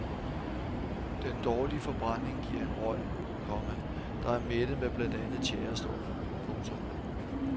Den dårlige forbrænding giver en røg, komma der er mættet med blandt andet tjærestoffer. punktum